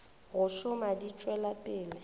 go šoma di tšwela pele